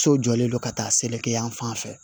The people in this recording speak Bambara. So jɔlen don ka taa seleke yan fan fɛ